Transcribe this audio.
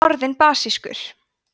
orðin basískur